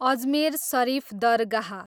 Ajmer Sharif Dargah